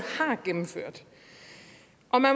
har gennemført